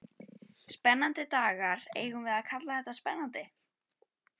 Spennandi dagar, eigum við að kalla þetta spennandi?